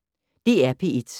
DR P1